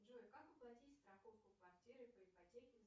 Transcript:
джой как оплатить страховку квартиры по ипотеке